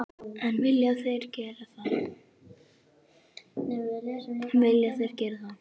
En vilja þeir gera það?